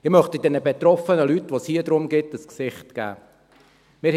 Ich möchte diesen betroffenen Personen, um die es hier geht, ein Gesicht geben.